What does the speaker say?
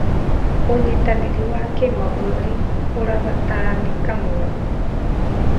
ũnyitanĩri wa kĩmabũrũri ũrabataranĩka mũno.